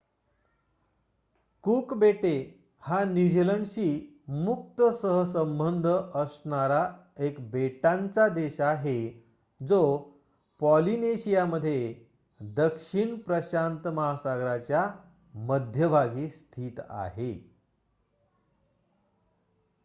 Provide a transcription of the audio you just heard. cook बेटे हा New Zealand शी मुक्त सहसंबध असणारा एक बेटांचा देश आहे जो पॉलीनेशिया मध्ये दक्षिण प्रशांत महासागराच्या मध्यभागी स्थित आहे